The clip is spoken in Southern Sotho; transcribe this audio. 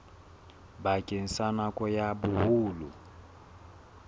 bakeng sa nako ya boholo